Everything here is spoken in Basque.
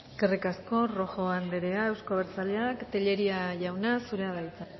eskerrik asko rojo anderea euzko abertzaleak tellería jauna zurea da hitza